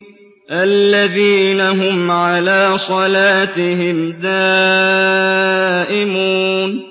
الَّذِينَ هُمْ عَلَىٰ صَلَاتِهِمْ دَائِمُونَ